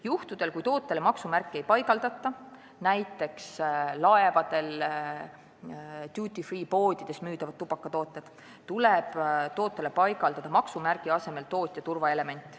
Juhtudel, kui tootele maksumärki ei panda – näiteks võib tuua laevadel duty-free poodides müüdavad tubakatooted –, tuleb tootele panna maksumärgi asemel tootja turvaelement.